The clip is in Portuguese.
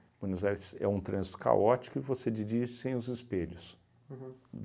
Buenos Aires é um trânsito caótico e você dirige sem os espelhos. Uhum.